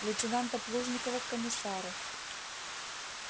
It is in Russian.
лейтенанта плужникова к комиссару